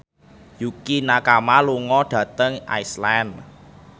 Yukie Nakama lunga dhateng Iceland